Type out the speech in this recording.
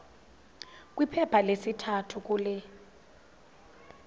kwiphepha lesithathu kule